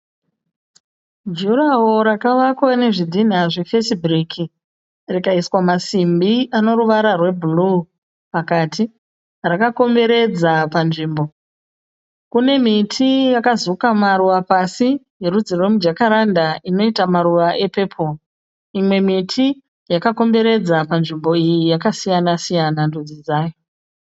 Jurahoro rakavakwa nezvidhina zvefesi bhiriki. Rikaiswa masimbi anoruvara rwebhuruwu pakati. Rakakomberedza panzvimbo. Kune miti yakazuka maruva pasi erudzi yemujakaranda inoita maruva epepuri. Mimwe miti yakakomberedza panzvimbo iyi yakasiyana siyana ndudzi dzayo.